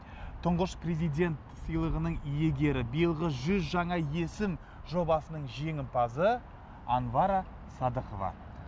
тұңғыш президент сыйлығының иегері биылғы жүз жаңа есім жобасының жеңімпазы анвара садыкова